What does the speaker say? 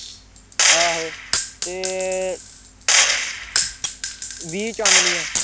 ਆਹੋ ਤੇ ਵੀਹ ਚਾਨਣੀਆਂ